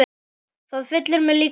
Það fyllir mig líka reiði.